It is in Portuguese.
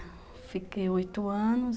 É. Fiquei oito anos.